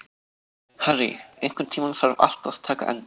Harry, einhvern tímann þarf allt að taka enda.